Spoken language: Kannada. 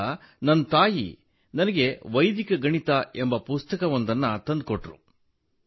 ಆಗ ನನ್ನ ತಾಯಿ ನನಗೆ ವೈದಿಕ ಗಣಿತ ಎಂಬ ಪುಸ್ತಕವನ್ನು ತಂದು ಕೊಟ್ಟರು